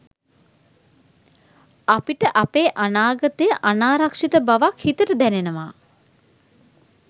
අපිට අපේ අනාගතය අනාරක්ෂිත බවක් හිතට දැනෙනවා.